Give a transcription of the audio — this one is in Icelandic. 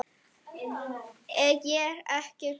Ég er ekkert glöð núna.